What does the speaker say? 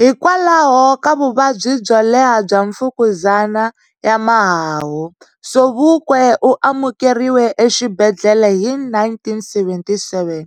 Hikwalaho ka vuvabyi byo leha bya Mfukuzana ya Mahahu, Sobukwe u amukeriwe e xibedlele hi 1977.